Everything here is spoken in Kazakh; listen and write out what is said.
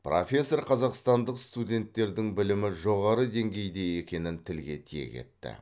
профессор қазақстандық студенттердің білімі жоғары деңгейде екенін тілге тиек етті